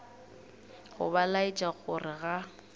go ba laetša gore ga